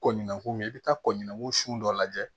Kɔɲinko mɛn i bɛ taa kɔɲɔko su dɔ lajɛ